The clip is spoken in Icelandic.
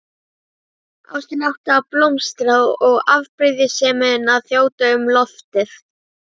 Ástin átti að blómstra og afbrýðisemin að þjóta um loftið.